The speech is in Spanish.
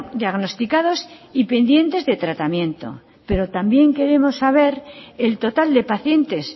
diagnosticados y pendientes de tratamiento pero también queremos saber el total de pacientes